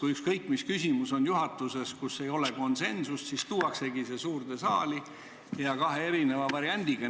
Ja ükskõik, mis küsimus juhatuses on – kui selles ei ole konsensust, siis tuuaksegi see suurde saali kahe erineva variandiga.